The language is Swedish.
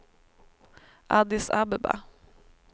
Addis Abeba